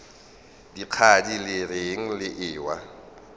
dikgadi le reng le ewa